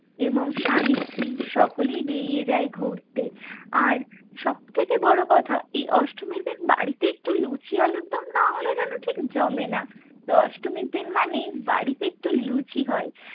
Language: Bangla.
এবং স্বামী-স্ত্রী সকলেই বেরিয়ে যায় ঘুরতে আর সবথেকে বড়ো কথা এই অষ্টমীর দিন বাড়িতে একটু লুচি আলুর দম না হলে যেন ঠিক জমে না। তো অষ্টমীর দিন মানেই বাড়িতে একটু লুচি হয়।